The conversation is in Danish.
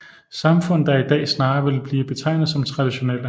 Samfund der i dag snarere vil blive betegnet som traditionelle